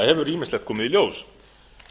hefur ýmislegt komið í ljós